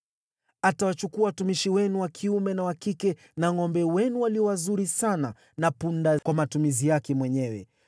Atawachukua watumishi wenu wa kiume na wa kike, na ngʼombe wenu walio wazuri sana na punda kwa matumizi yake mwenyewe.